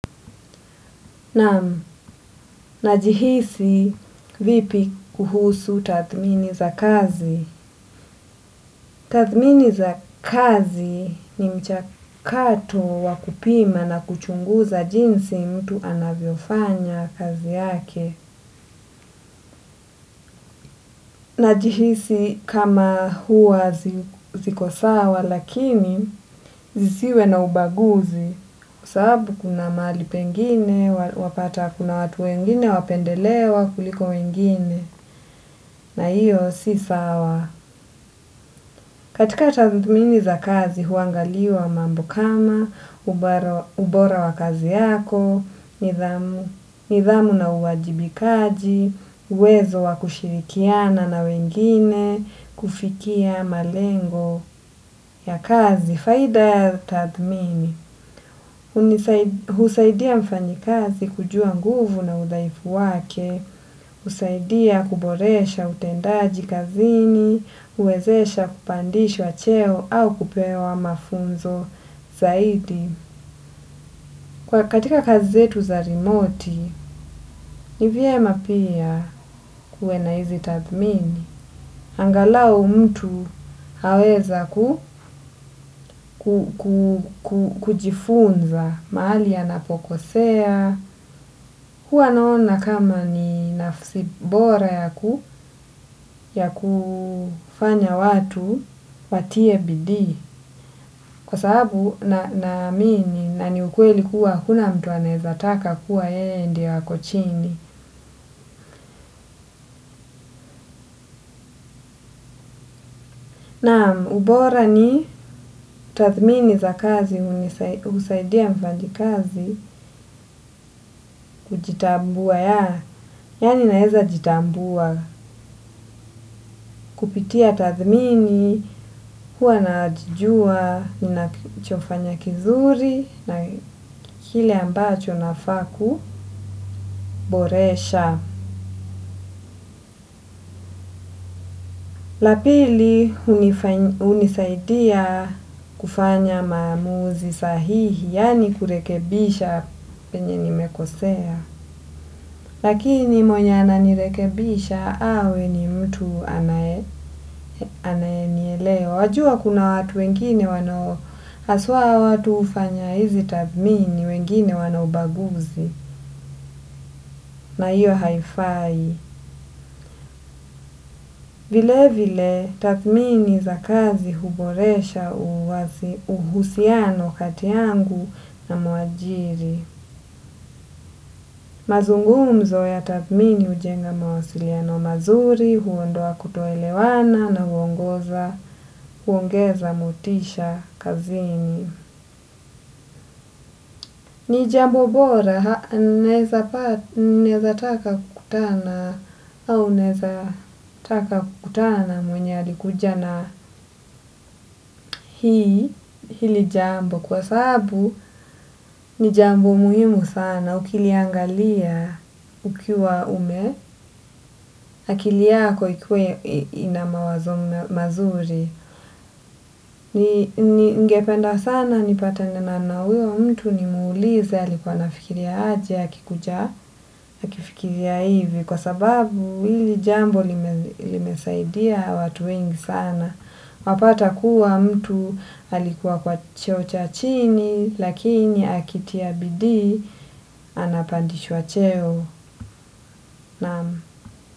Na jihisi vipi kuhusu tathmini za kazi. Tathmini za kazi ni mchakato wa kupima na kuchunguza jinsi mtu anavyofanya kazi yake. Na jihisi kama huwa ziko sawa lakini zisiwe na ubaguzi kwa sababu kuna mahali pengine, wapata kuna watu wengine, wapendelewa kuliko wengine na hiyo si sawa. Katika tathmini za kazi huangaliwa mambo kama ubora wa kazi yako nidhamu na uwajibajikaji uwezo wa kushirikiana na wengine kufikia malengo ya kazi. Faida ya tathmini, husaidia mfanyi kazi kujua nguvu na udhaifu wake, husaidia kuboresha utendaji kazini, huwezesha kupandishwa cheo au kupewa mafunzo zaidi. Kwa katika kazi zetu za rimoti, ni vyema pia kuwe na hizi tathmini. Angalau mtu aweza ku kujifunza mahali anapokosea huwa naona kama ni nafsi bora ya kufanya watu watie bidii. Kwa sababu naamini na ni ukweli kuwa huna mtu anaezataka kuwa yeye ndio ako chini. Na ubora ni tathmini za kazi, husaidia mfanyi kazi kujitambua ya. Yaani naeza jitambua kupitia tathmini, huwa najijua, ninachofanya kizuri na kile ambacho nafaa kuboresha. La pili hunisaidia kufanya maamuzi sahihi, yaani kurekebisha penye nimekosea. Lakini mwenye ananirekebisha awe ni mtu anaye nielewa. Wajua kuna watu wengine wanao haswa watu hufanya hizi tathmini wengine wan ubaguzi na hiyo haifai. Vile vile tathmini za kazi huboresha uhusiano kati yangu na mwajiri. Mazungumzo ya tathmini hujenga mawasiliano mazuri huondoa kutoelewana na huongeza motisha kazini. Ni jambo bora, naeza taka kukutana, au naeza taka kukutana mwenye alikuja na hii, hili jambo, kwa sababu ni jambo muhimu sana, ukiliangalia ukiwa ume akili yako ikuwe ina mawazo mazuri. Ningependa sana nipatane na huyo mtu ni muulize alikuwa nafikiria aje akikuja akifikiria hivi kwa sababu hili jambo limesaidia watu wengi sana. Wapata kuwa mtu alikuwa kwa cheo cha chini lakini akitia bidii anapandishwa cheo naamu.